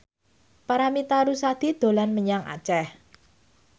Paramitha Rusady dolan menyang Aceh